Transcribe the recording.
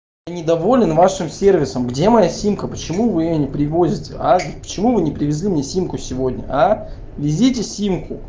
я не доволен вашим сервисом где моя симка почему вы её не привозите почему вы не привезли мне симку сегодня везите симку